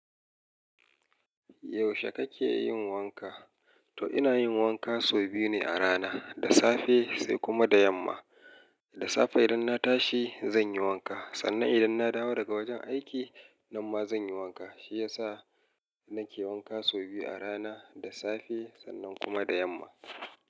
Yaushe kake yin wanka? To ina yin wanka sau biyu ne a rana, da safe sai kuma da yamma. Da safe idan na tashi zan yi wanka, sannan idan na dawo daga wajen aiki nan ma zan yi wanka. Shi yasa nake wanka sau biyu a rana, da safe sannan kuma da yamma.